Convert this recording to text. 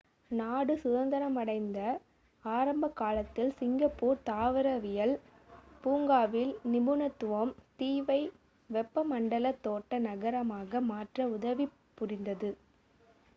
நாடு சுதந்திரமடைந்த ஆரம்பக் காலத்தில் சிங்கப்பூர் தாவரவியல் பூங்காவின் நிபுணத்துவம் தீவை வெப்பமண்டல தோட்ட நகரமாக மாற்ற உதவிப் புரிந்தது